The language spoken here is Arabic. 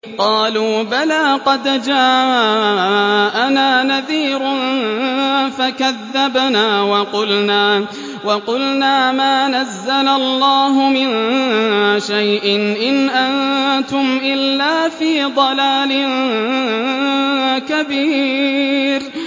قَالُوا بَلَىٰ قَدْ جَاءَنَا نَذِيرٌ فَكَذَّبْنَا وَقُلْنَا مَا نَزَّلَ اللَّهُ مِن شَيْءٍ إِنْ أَنتُمْ إِلَّا فِي ضَلَالٍ كَبِيرٍ